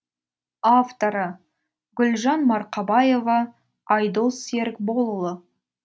авторы гүлжан марқабаева айдос серікболұлы